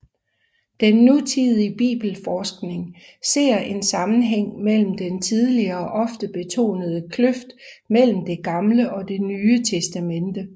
Den nutidige bibelforskning ser en sammenhæng mellem den tidligere ofte betonede kløft mellem Det Gamle og Det Nye Testamente